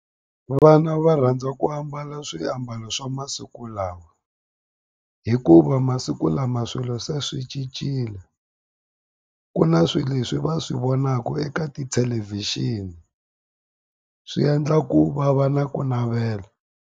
Vana va rhandza ku ambala swiambalo swa masiku lawa hikuva masiku lama swilo se swi cincile ku na swi leswi va swi vonaka eka tithelevhixini swi endla ku va va na ku navela.